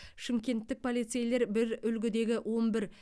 шымкенттік полицейлер бір үлгідегі он бір